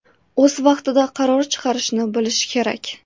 O‘z vaqtida qaror chiqarishni bilish kerak.